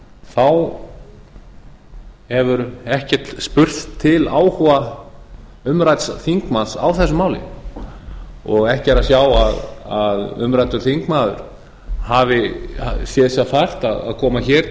þá hefur ekkert spurst til áhuga umrædds þingmanns á þessu máli og ekki er að sjá að umræddur þingmaður hafi séð sér fært að koma hér